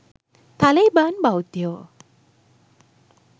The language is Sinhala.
තලෙයිබාන් බෞද්ධයෝ.